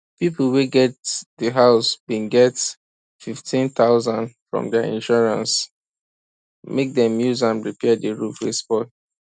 people wey get the house bin get 15000 from their insurance make dem use am repair their roof wey spoil